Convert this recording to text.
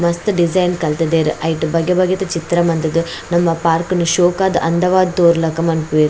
ಮಸ್ತ್ ಡಿಸೈನ್ ಕಲ್ತುದೆರ್ ಐಟ್ ಬಗೆ ಬಗೆತ ಚಿತ್ರ ಮಂತುದು ನಮ ಪಾರ್ಕ್ ನು ಶೋಕಾದ್ ಅಂದವಾದ್ ತೂವೆರ್ ಲಕ ಮನ್ಪುವೆರ್.